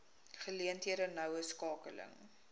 geleenthede noue skakeling